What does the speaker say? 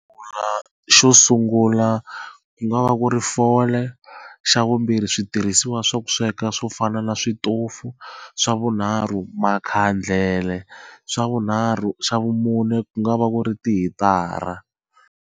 Xo sungula ku nga va ku ri fole xa vumbirhi switirhisiwa swa ku sweka swo fana na switofu swa vunharhu makhandlele swa vunharhu xa vumune ku nga va ku ri tihitara.